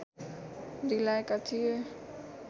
दिलाएका थिए